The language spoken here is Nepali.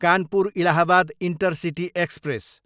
Kanpur, Allahabad intercity express